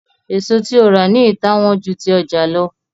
èso tí o rà ní ita wón jù ti ọja ló